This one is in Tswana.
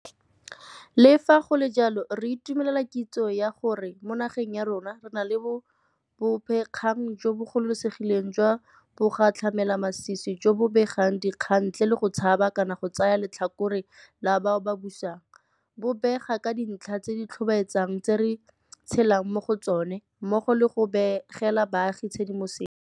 Le fa go le jalo, re itumelela kitso ya gore mo nageng ya rona re na le bobegakgang jo bo gololesegileng jwa bogatlhamelamasisi jo bo begang dikgang ntle le go tshaba kana go tsaya letlhakore la bao ba busang, bo bega ka dintlha tse di tlhobaetsang tse re tshelang mo go tsone, mmogo le go begela baagi tshedimosetso.